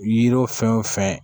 Yiri fɛn wo fɛn